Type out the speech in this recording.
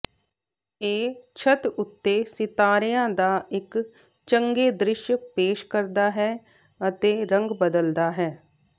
ਇਹ ਛੱਤ ਉੱਤੇ ਸਿਤਾਰਿਆਂ ਦਾ ਇਕ ਚੰਗੇ ਦ੍ਰਿਸ਼ ਪੇਸ਼ ਕਰਦਾ ਹੈ ਅਤੇ ਰੰਗ ਬਦਲਦਾ ਹੈ